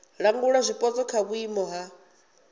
langula zwipotso kha vhuimo ha